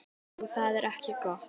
Og það er ekki gott.